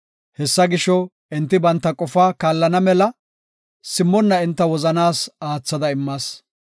Hessa gisho, enti banta qofaa kaallana mela, simmonna enta wozanaas aathada immas.